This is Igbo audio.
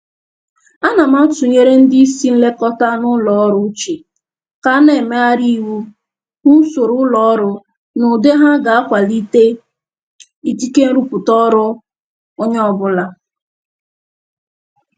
Ana m atụnyere ndị isi nlekọta n'ụlọ ọrụ uche ka na-emegharị iwu usoro ụlọ ọrụ n'ụdị ha ga na-akwalite ikike nrụpụta ọrụ onye ọrụ ọbụla